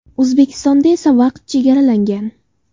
O‘zbekistonda esa vaqt chegaralangan.